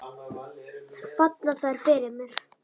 Falla þær fyrir mér?